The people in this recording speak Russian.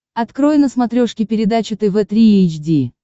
открой на смотрешке передачу тв три эйч ди